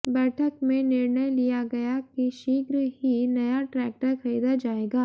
बैठक में निर्णय लिया गया कि शीघ्र ही नया ट्रैक्टर खरीदा जाएगा